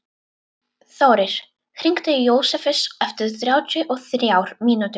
Þórir, hringdu í Jósefus eftir þrjátíu og þrjár mínútur.